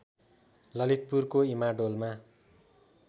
ललितपुरको इमाडोलमा